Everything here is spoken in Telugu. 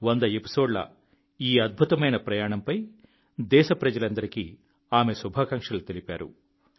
వంద ఎపిసోడ్ల ఈ అద్భుతమైన ప్రయాణంపై దేశప్రజలందరికీ ఆమె శుభాకాంక్షలు తెలిపారు